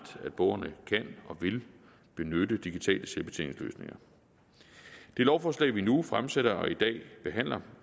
at borgerne kan og vil benytte digitale selvbetjeningsløsninger det lovforslag vi nu fremsætter og i dag behandler